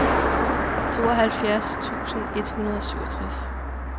tooghalvfjerds tusind et hundrede og syvogtres